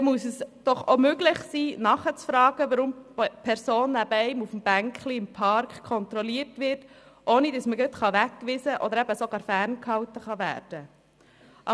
Da muss es doch auch möglich sein, nachzufragen, weshalb die Person neben einem auf der Parkbank kontrolliert wird, ohne dass man gleich weggewiesen oder ferngehalten werden kann.